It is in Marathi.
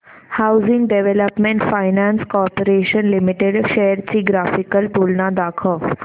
housing development finance corporation limited shares ची ग्राफिकल तुलना दाखव